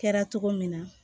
Kɛra cogo min na